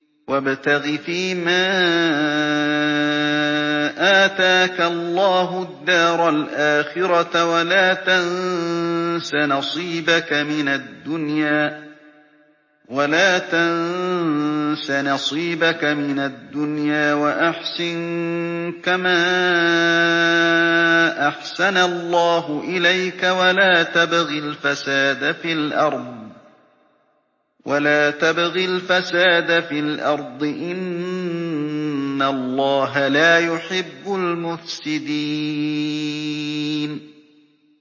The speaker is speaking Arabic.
وَابْتَغِ فِيمَا آتَاكَ اللَّهُ الدَّارَ الْآخِرَةَ ۖ وَلَا تَنسَ نَصِيبَكَ مِنَ الدُّنْيَا ۖ وَأَحْسِن كَمَا أَحْسَنَ اللَّهُ إِلَيْكَ ۖ وَلَا تَبْغِ الْفَسَادَ فِي الْأَرْضِ ۖ إِنَّ اللَّهَ لَا يُحِبُّ الْمُفْسِدِينَ